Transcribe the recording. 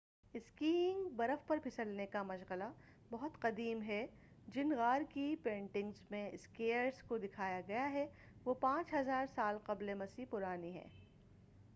Skiing برف پر پھسلنے کا مشغلہ بہت قدیم ہے — جن غار کی پینٹنگز میں اسکیئرز کو دکھایا گیا ہے وہ 5000 سال قبلِ مسیح پرانی ہیں!